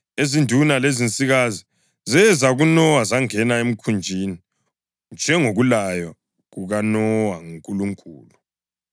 ezinduna lezinsikazi zeza kuNowa zangena emkhunjini, njengokulaywa kukaNowa nguNkulunkulu.